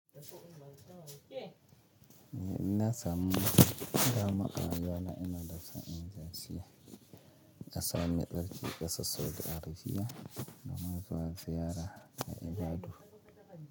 Ina samun dama a rayuwa na ina da son inje ƙasa mai tsarki ƙasar Saudi Arabia domin zuwa ziyara na ibadu.